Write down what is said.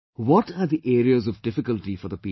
What are the areas of difficulty for the people